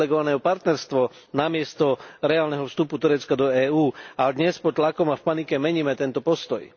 privilegované partnerstvo namiesto reálneho vstupu Turecka do EÚ a dnes pod tlakom a v panike meníme tento postoj.